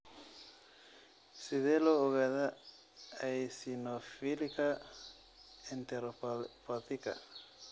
Sidee loo ogaadaa eosinophilika enteropathiga?